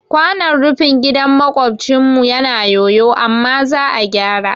Kwanon rufin gidan maƙocinmu yana yoyo amma za a gyara